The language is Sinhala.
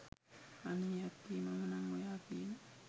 අනේ අක්කේ මම නං ඔයා කියන